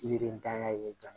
Yirinitanya ye jama